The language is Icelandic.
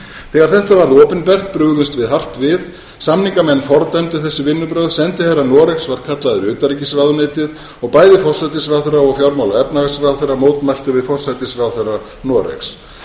þegar þetta varð opinbert brugðumst við hart við samningamenn fordæmdu þessi vinnubrögð sendiherra noregs var kallaður í utanríkisráðuneytið og bæði forsætisráðherra og fjármála og efnahagsráðherra mótmæltu við forsætisráðherra noregs